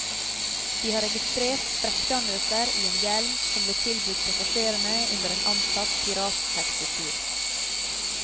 De har registret sprekkdannelser i en hjelm som ble tilbudt passasjerene under en antatt pirattaxitur.